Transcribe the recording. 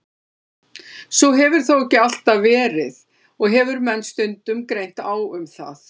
Svo hefur þó ekki alltaf verið og hefur menn stundum greint á um það.